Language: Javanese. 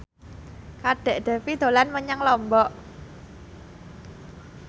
Kadek Devi dolan menyang Lombok